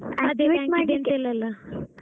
ಇಲ್ಲಲ್ಲಾ.